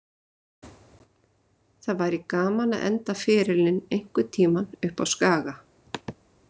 Það væri gaman að enda ferilinn einhvern tíma uppá Skaga.